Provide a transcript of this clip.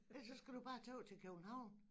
Ellers så skal du bare tage ud til København